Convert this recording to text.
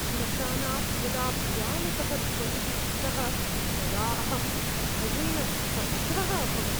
श्मशानात् यदा भयानकः ध्वनिः श्रुतः तदा अहम् भयेन स्तब्धः अभवम्।